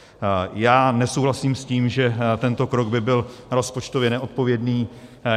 Já nesouhlasím s tím, že tento krok by byl rozpočtově neodpovědný.